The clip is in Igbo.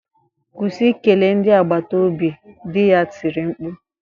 Kwụsị ikele ndị agbata obi! di ya tiri mkpu